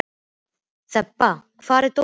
Þeba, hvar er dótið mitt?